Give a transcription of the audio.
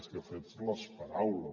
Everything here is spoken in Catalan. més que fets les paraules